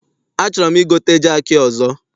Achọrọ m igote jaakị ọzọ.